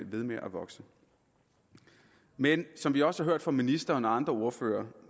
ved med at vokse men som vi også har hørt fra ministeren og andre ordførere